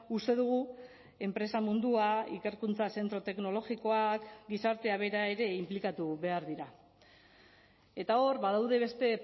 uste dugu enpresa mundua ikerkuntza zentro teknologikoak gizartea bera ere inplikatu behar dira eta hor badaude beste